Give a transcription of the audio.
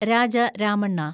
Raja Ramanna